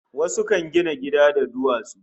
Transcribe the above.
Wasu kan gina gida da duwatsu